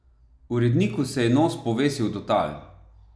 Uredniku se je nos povesil do tal!